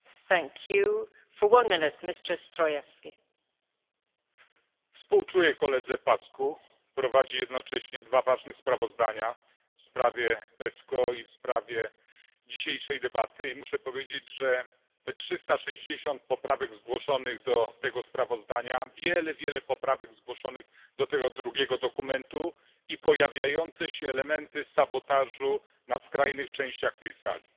Pani Przewodnicząca! Współczuję koledze Paşcu. Prowadzi jednocześnie dwa ważne sprawozdania w sprawie PESCO i w sprawie dzisiejszej debaty i muszę powiedzieć, że te 360 poprawek zgłoszonych do tego sprawozdania, wiele, wiele poprawek zgłoszonych do tego drugiego dokumentu i pojawiające się elementy sabotażu na skrajnych częściach tej sali